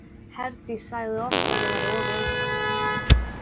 Herdís sagði oft að ég væri of viðkvæm.